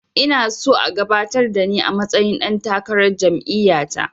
Ina so a gabatar da ni a matsayin ɗan takarar jam'iya ta